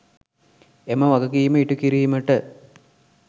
එම වගකීම ඉටුකිරීමට